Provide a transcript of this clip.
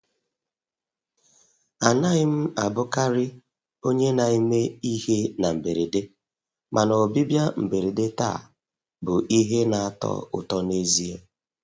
Anaghị m abụkarị onye na-eme ihe na mberede, mana ọbịbịa mberede taa bụ ihe na-atọ ụtọ n'ezie.